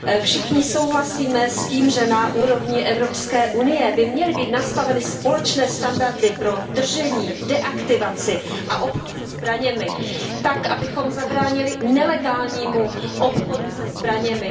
Všichni souhlasíme s tím, že na úrovni EU by měly být nastaveny společné standardy pro držení, deaktivaci a obchod se zbraněmi tak, abychom zabránili nelegálnímu obchodu se zbraněmi.